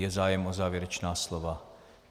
Je zájem o závěrečná slova?